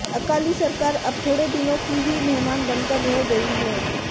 अकाली सरकार अब थोड़े दिनों की ही मेहमान बनकर रह गई है